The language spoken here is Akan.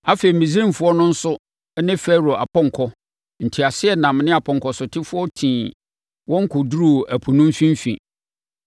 Afei, Misraimfoɔ no nso ne Farao apɔnkɔ, nteaseɛnam ne apɔnkɔsotefoɔ tii wɔn kɔduruu ɛpo no mfimfini.